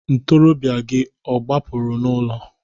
Ntoroọbịa gị ọ gbapụrụ n'ụlọ?